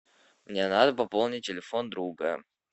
мне надо пополнить телефон друга